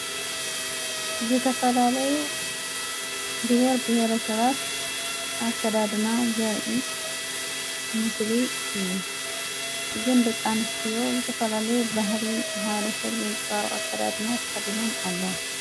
ዝተፈላለዩ ብሔር ብሔረ ሰባት ኣከዳድና ዘርኢ ምስሊ እዩ እዝንድቃንስትዮ ዝተፈላለይ ባህሊ መሓረ ሰብ ዘንፅባር ኣከዳድና ተኸዲነን ኣለዋ።